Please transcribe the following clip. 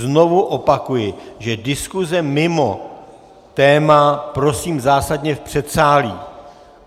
Znovu opakuji, že diskuse mimo téma prosím zásadně v předsálí.